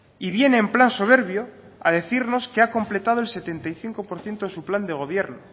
y viene en plan soberbio a decirnos que ha completado el setenta y cinco por ciento de su plan de gobierno